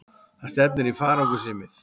Það stefnir í farangursrýmið.